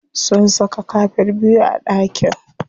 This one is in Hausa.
Sun saka kafet biyu a ɗakin.